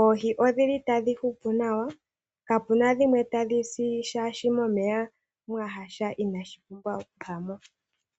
Oohi odhili tadhi hupu nawa. Kapuna dhimwe tadhi si shaashi momeya mwa yasha inashi pumbwa oku yamo.